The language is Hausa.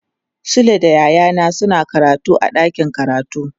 Sule da yayana suna karatu a dakin karatu.